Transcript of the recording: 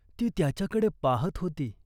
ती त्याच्याकडे पाहत होती.